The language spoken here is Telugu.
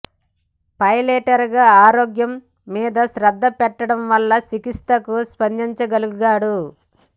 పైలట్గా ఆరోగ్యం మీద శ్రద్ధ పెట్టడం వల్ల చికిత్సకు స్పందించగలిగాడు